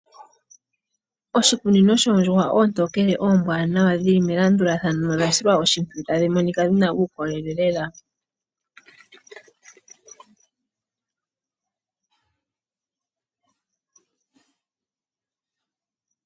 Oshikunino shoondjuhwa oontokele oombaanawa tadhi monika dhili melandulathano ano dhina uukolele lela.